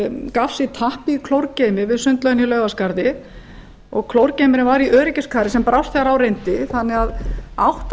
tappi í klórgeymi við sundlaugina í laugaskarði gaf sig og klórgeymirinn var í öryggiskari sem brást þegar á reyndi þannig að átta